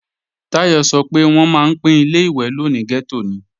Táyọ̀ sọ pé wọ́n máa ń pín Ilé-ìwẹ̀ lò ní gẹ́tò ni